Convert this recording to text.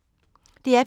DR P2